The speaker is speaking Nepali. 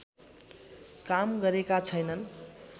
काम गरेका छैनन्